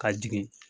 Ka jigin